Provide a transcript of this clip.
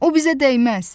O bizə dəyməz.